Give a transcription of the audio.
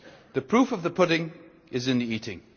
The proof of the pudding is in the eating.